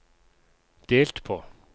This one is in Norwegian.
delt på